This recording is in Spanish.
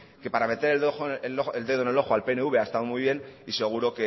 que para meter el dedo en el ojo al pnv ha estado muy bien y seguro